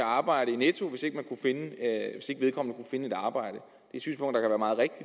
arbejde i netto hvis de ikke kunne finde et andet arbejde og